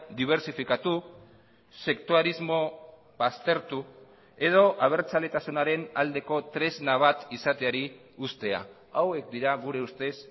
dibertsifikatu sektuarismo baztertu edo abertzaletasunaren aldeko tresna bat izateari uztea hauek dira gure ustez